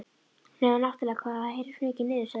Nema náttúrlega hvað það heyrist mikið niður, segir Sigga.